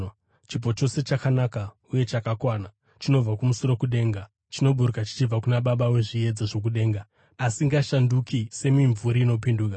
Chipo chose chakanaka uye chakakwana chinobva kumusoro kudenga, chinoburuka chichibva kuna Baba wezviedza zvokudenga, asingashanduki semimvuri inopinduka.